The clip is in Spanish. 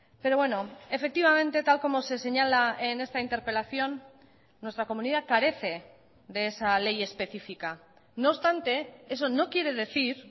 pero bueno efectivamente tal como se señala en esta interpelación nuestra comunidad carece de esa ley específica no obstante eso no quiere decir